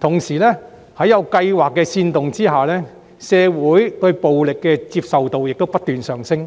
同時，在有計劃的煽動之下，社會對暴力的接受程度亦不斷上升，